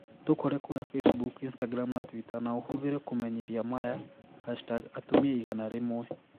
Tũkore kũria Facebook, Instagram na Twitter na ũhũthire kũmenyithia maya #Atumia igana rimwe.